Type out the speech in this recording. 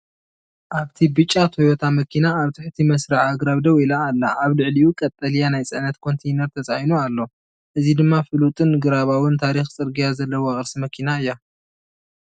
ኣብቲ ብጫ ቶዮታ መኪና ኣብ ትሕቲ መስርዕ ኣግራብ ደው ኢላ ኣላ። ኣብ ልዕሊኡ ቀጠልያ ናይ ጽዕነት ኮንተይነር ተጻዒኑ ኣሎ። እዚ ድማ ፍሉጥን ግብራውን ታሪኽ ጽርግያ ዘለዋ ቅርሲ መኪና እያ።